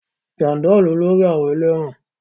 Jàndọ̀ ni olórí àwọn ẹlẹ́wọ̀n